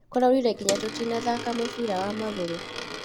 Kũraurire nginya tũtinathaka mũbira wa magũrũ